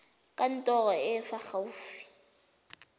kantorong e e fa gaufi